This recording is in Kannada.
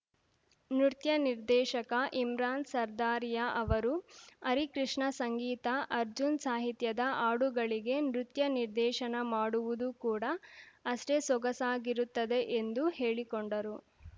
ನೃತ್ಯ ನಿರ್ದೇಶಕ ಇಮ್ರಾನ್‌ ಸರ್ದಾರಿಯಾ ಅವರು ಹರಿಕೃಷ್ಣ ಸಂಗೀತ ಅರ್ಜುನ್‌ ಸಾಹಿತ್ಯದ ಹಾಡುಗಳಿಗೆ ನೃತ್ಯ ನಿರ್ದೇಶನ ಮಾಡುವುದು ಕೂಡ ಅಷ್ಟೇ ಸೊಗಸಾಗಿರುತ್ತದೆ ಎಂದು ಹೇಳಿಕೊಂಡರು